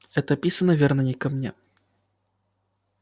это писано верно не ко мне